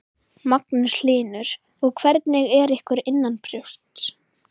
Magnús Hlynur: Og hvernig er ykkur innanbrjósts?